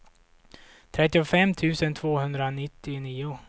trettiofem tusen tvåhundranittionio